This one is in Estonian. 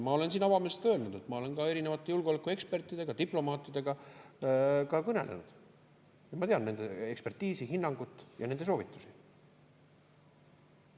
Ma olen siin avameelselt öelnud, et ma olen ka erinevate julgeolekuekspertidega, diplomaatidega kõnelenud ja ma tean nende ekspertiisi, hinnangut ja nende soovitusi.